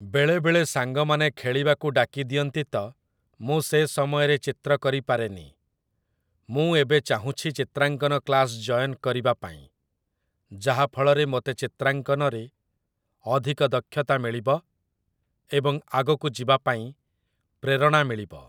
ବେଳେବେଳେ ସାଙ୍ଗମାନେ ଖେଳିବାକୁ ଡାକିଦିଅନ୍ତି ତ ମୁଁ ସେ ସମୟରେ ଚିତ୍ର କରିପାରେନି। ମୁଁ ଏବେ ଚାହୁଁଛି ଚିତ୍ରାଙ୍କନ କ୍ଳାସ୍ ଯଏନ୍ କରିବା ପାଇଁ, ଯାହାଫଳରେ ମୋତେ ଚିତ୍ରାଙ୍କନରେ ଅଧିକ ଦକ୍ଷତା ମିଳିବ ଏବଂ ଆଗକୁ ଯିବା ପାଇଁ ପ୍ରେରଣା ମିଳିବ